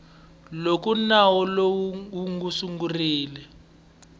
loko nawu lowu wu sungurile